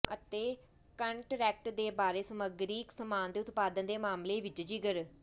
ਅਤੇ ਕੰਟਰੈਕਟ ਦੇ ਬਾਰੇ ਸਮੱਗਰੀ ਸਾਮਾਨ ਦੇ ਉਤਪਾਦਨ ਦੇ ਮਾਮਲੇ ਵਿਚ ਜ਼ਿਕਰ